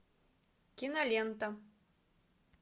кинолента